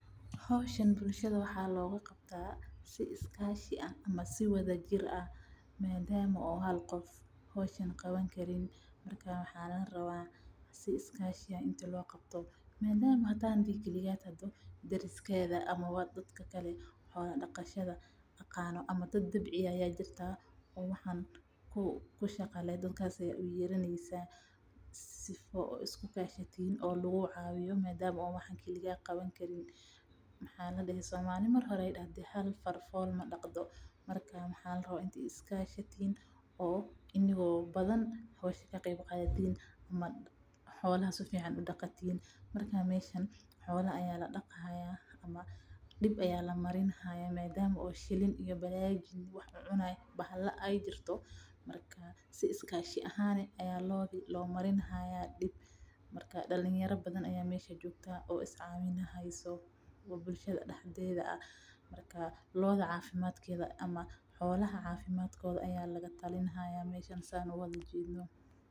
Howshan bulshada waxaa looga qabtaa si wada jir ah madama uu hal qof qaban karin hadii kaligaa aad tahay dariska ayaad uyeaneysa si laguu cawiyo somali waxeey dahde Hal far fool madaqdo waxaa fican inaad is kashatin meeshan xolaha ayaa ladaqi haaya oo lamarini haaya dib dalinyara badan ayaa is caawineysa oo xolaha ladaleyni haaya.